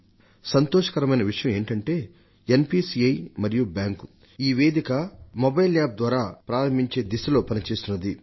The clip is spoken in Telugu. సంతోషకరమైన విషయం ఏమిటంటే ఎన్పీసీఐ మరియు బ్యాంకులు ఈ ప్లాట్ఫాంను మొబైల్ యాప్ ద్వారా ప్రారంభించే దిశగా కసరత్తు చేస్తున్నాయి